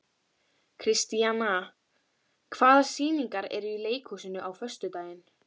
Kristíanna, hvaða sýningar eru í leikhúsinu á föstudaginn?